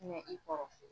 Ɲɛ i kɔrɔ